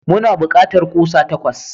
Muna bukatar kusa takwas.